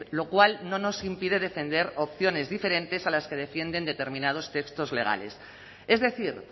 lo cual no nos impide defender opciones diferentes a las que defienden determinados textos legales es decir